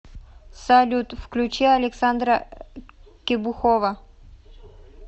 салют включи александра кебухова